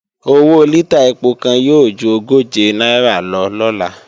Owó lítà ẹpo kan yóò ju ogóje náírà lọ lọ́la